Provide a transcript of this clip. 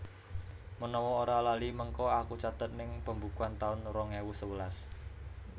Menawa ora lali mengko aku catet ning pembukuan taun rong ewu sewelas